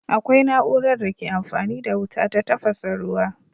Akwai na'urar da ke amfani da wuta ta tafasa ruwa.